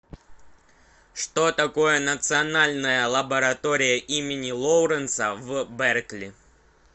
что такое национальная лаборатория имени лоуренса в беркли